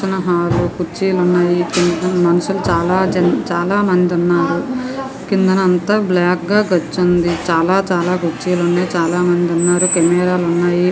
పక్కన హాలు కుర్చీలు ఉన్నాయి. మనుషులు చాలా జనం చాలా మంది ఉన్నారు. కిందన అంతా బ్లాక్ గా గచ్చు ఉంది. చాలా చాలా కుర్చీలు ఉన్నాయి. చాలా మంది ఉన్నారు. కెమెరా లున్నాయి.